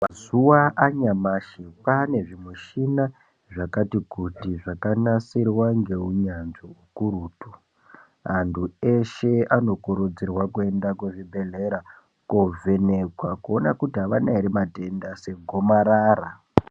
Mazuwa anyamashi kwane zvimushina zvakati kuti zvakanasirwa ngeunyanzi ukurutu. Antu eshe anokurudzirwa kuenda kuzvibhedhlera kovhenekwa kuona kuti avana ere matenda segomarara.